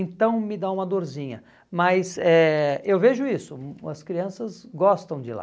Então me dá uma dorzinha, mas eh eu vejo isso, hum, as crianças gostam de ir lá.